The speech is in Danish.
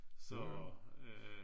Så øh